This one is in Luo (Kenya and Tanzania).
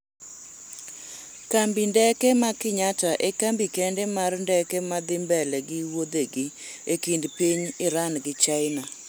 kambi ndeke ma Kenyatta e kambi kende mar ndeke mane dhi mbele gi wuodhege e kind piny Iran gi China